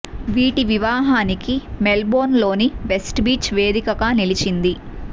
వీటి వివాహానికి మెల్ బోర్న్ లోని వెస్ట్ బీచ్ వేదికగా నిలిచింది